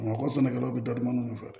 Bamakɔ sɛnɛkɛlaw bɛ datuma fɛ